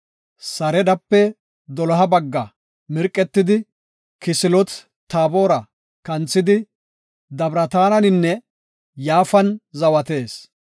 Saridape doloha bagga mirqetidi, Kisiloot-Taabora kanthidi Dabirataninne Yaafan zawatees.